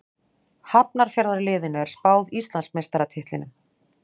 Hafnarfjarðarliðinu er spáð Íslandsmeistaratitlinum.